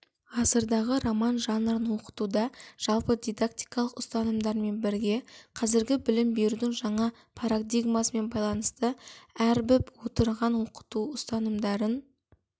ғасырдағы роман жанрын оқытуда жалпы дидактикалық ұстанымдармен бірге қазіргі білім берудің жаңа парадигмасымен байланысты өрбіп отырған оқыту ұстанымдарын